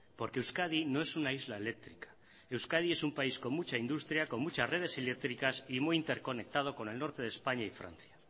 porque euskadi no es una isla eléctrica euskadi es un país con mucha industria con muchas redes eléctricas y muy interconectado con el norte de españa y francia